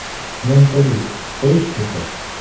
менталист поищи ка